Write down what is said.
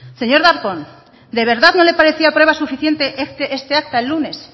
señor darpón de verdad no le parecía prueba suficiente este acta el lunes